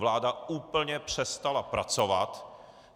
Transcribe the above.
Vláda úplně přestala pracovat.